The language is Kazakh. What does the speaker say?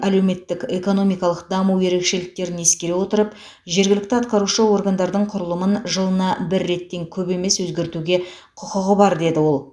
әлеуметтік экономикалық даму ерекшеліктерін ескере отырып жергілікті атқарушы органдардың құрылымын жылына бір реттен көп емес өзгертуге құқығы бар деді ол